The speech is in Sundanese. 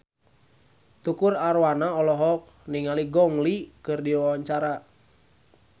Tukul Arwana olohok ningali Gong Li keur diwawancara